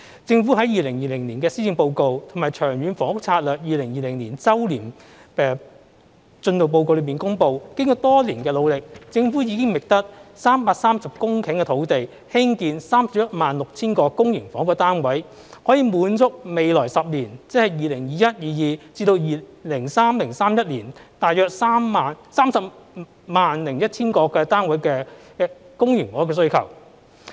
政府在2020年的施政報告，以及《長遠房屋策略2020年周年進度報告》裏公布，經過多年的努力，政府已覓得330公頃的土地，興建 316,000 個公營房屋單位，可以滿足未來10年，即是 2021-2022 年度至 2030-2031 年度，大約 301,000 個單位的公營房屋的需求。